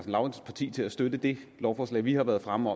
lauritzens parti til at støtte det lovforslag vi har været fremme